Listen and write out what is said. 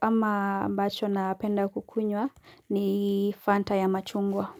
ama ambacho na penda kukunywa ni fanta ya machungwa.